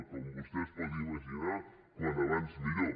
com vostè es pot imaginar com més aviat millor